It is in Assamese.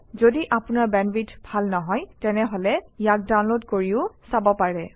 যদি আপোনাৰ বেণ্ডৱিডথ ভাল নহয় তেনেহলে ইয়াক ডাউনলোড কৰি চাব পাৰে